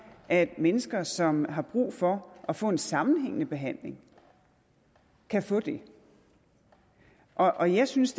at mennesker som har brug for at få en sammenhængende behandling kan få det og jeg synes